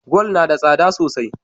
Gwal nada tsada sosai